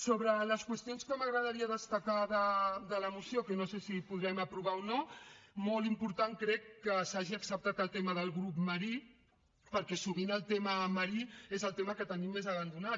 sobre les qüestions que m’agradaria destacar de la moció que no sé si podrem aprovar o no molt important crec que s’hagi acceptat el tema del grup marí perquè sovint el tema marí és el tema que tenim més abandonat